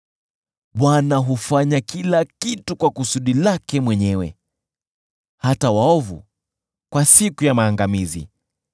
Bwana hufanya kila kitu kwa kusudi lake mwenyewe; hata waovu kwa siku ya maangamizi.